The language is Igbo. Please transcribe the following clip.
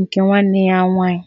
nke nwanne ya nwanyị.